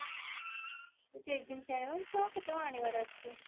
jeggins ଆଣିବ ଆଉ କେତେ କଣ ଆଣିବାର ଅଛି